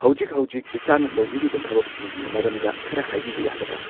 ꯍꯧꯖꯤꯛ ꯍꯧꯖꯤꯛ ꯏꯁꯥꯅ ꯇꯧꯕꯤꯔꯤꯕ ꯊꯕꯛꯁꯤꯡꯒꯤ ꯃꯔꯝꯗ ꯈꯔ ꯍꯥꯢꯕꯤꯕ ꯌꯥꯒꯗ꯭ꯔꯥ